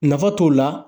Nafa t'o la